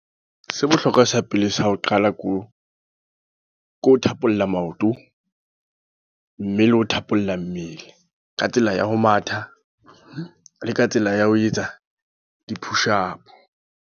Se bohlokwa sa pele sa ho qala ko, ko thapolla maoto. Mme le ho thapolla mmele. Ka tsela ya ho matha, le ka tsela ya ho etsa di-push up.